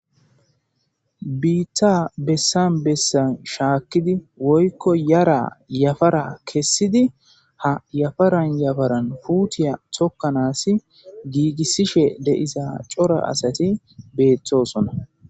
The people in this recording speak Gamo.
Biitta bessan bessan shaakkidi woykko yara yafara kessidi ha yafaran yafaran puutiya tokkanaasi giigissishe deisa cora asati beethtosona